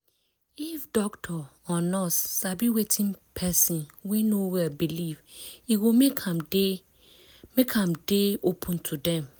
if doctor or nurse sabi wetin person wey no well believe e go make am dey make am dey open to dem